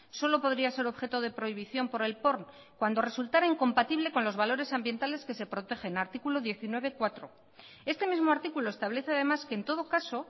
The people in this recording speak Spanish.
solo podría ser objeto de prohibición por el porn cuando resultara incompatible con los valores ambientales que se protegen artículo diecinueve punto cuatro este mismo artículo establece además que en todo caso